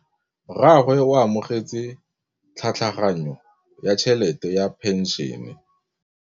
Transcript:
Rragwe o amogetse tlhatlhaganyô ya tšhelête ya phenšene.